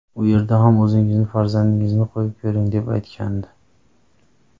U yerga ham o‘zingizni farzandingizni qo‘yib ko‘ring”, deb aytgandi .